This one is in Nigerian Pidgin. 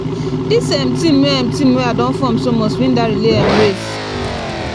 dis um team wey um team wey um I don form so must win dat relay um race